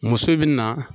Muso bɛ na